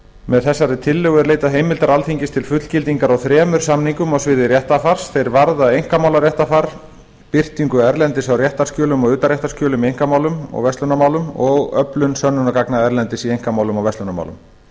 með þessari tillögu er leitað heimildar alþingis til fullgildingar á þremur samningum á sviði réttarfars þeir varða einkamálaréttarfar birtingu erlendis á réttarskjölum og utanréttarskjölum í einkamálum og verslunarmálum og öflun sönnunargagna erlendis í einkamálum og verslunarmálum